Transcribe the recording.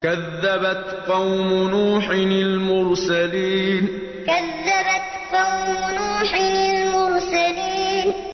كَذَّبَتْ قَوْمُ نُوحٍ الْمُرْسَلِينَ كَذَّبَتْ قَوْمُ نُوحٍ الْمُرْسَلِينَ